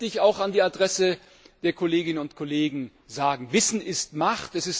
Eins möchte ich auch an die Adresse der Kolleginnen und Kollegen sagen Wissen ist Macht.